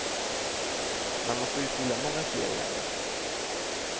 Man måste utbilda många fler i ämnet.